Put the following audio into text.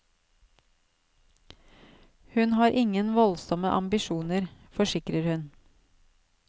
Hun har ingen voldsomme ambisjoner, forsikrer hun.